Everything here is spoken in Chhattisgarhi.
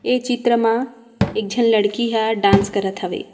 ये चित्र मा एक झन लड़की ह डांस करत हवे।